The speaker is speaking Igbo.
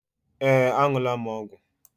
Ee, Aṅụla m ọgwụ m